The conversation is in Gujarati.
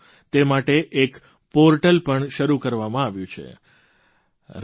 તે માટે એક પોર્ટલ પણ શરૂ કરવામાં આવ્યું છે runforunity